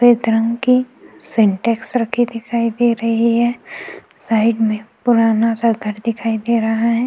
सफ़ेद रंग की सेन्टेक्स रखी दिखाई दे रही है साइड में पुराना सा घर दिखाई दे रहा है।